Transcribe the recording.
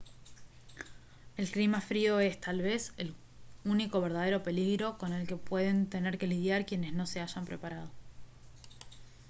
el clima frío es tal vez el único verdadero peligro con el que pueden tener que lidiar quienes no se hayan preparado